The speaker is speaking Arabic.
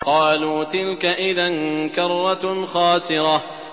قَالُوا تِلْكَ إِذًا كَرَّةٌ خَاسِرَةٌ